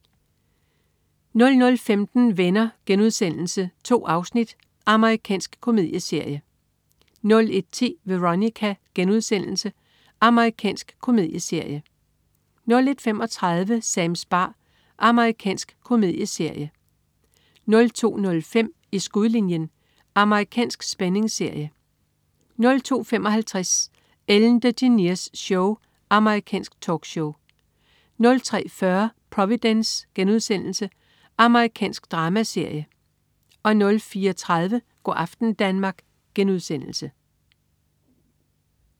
00.15 Venner.* 2 afsnit. Amerikansk komedieserie 01.10 Veronica.* Amerikansk komedieserie 01.35 Sams bar. Amerikansk komedieserie 02.05 I skudlinjen. Amerikansk spændingsserie 02.55 Ellen DeGeneres Show. Amerikansk talkshow 03.40 Providence.* Amerikansk dramaserie 04.30 Go' aften Danmark*